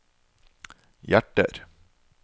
hjerter